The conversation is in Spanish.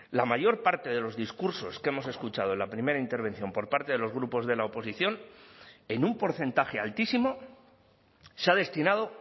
la mayor parte de los discursos que hemos escuchado en la primera intervención por parte de los grupos de la oposición en un porcentaje altísimo se ha destinado